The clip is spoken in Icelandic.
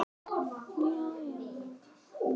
Þetta byrjaði allt þar.